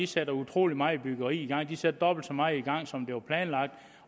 sætter utrolig meget byggeri i gang de sætter dobbelt så meget i gang som der var planlagt